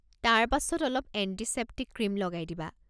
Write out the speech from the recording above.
তাৰ পাছত অলপ এণ্টিছেপ্টিক ক্ৰীম লগাই দিবা।